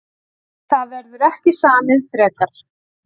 Það verður ekki samið frekar